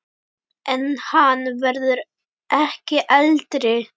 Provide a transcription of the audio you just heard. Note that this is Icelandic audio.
En hann verður ekki eldri.